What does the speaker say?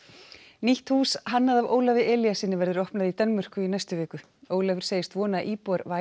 nýtt hús hannað af Ólafi Elíassyni verður opnað í Danmörku í næstu viku Ólafur segist vona að íbúar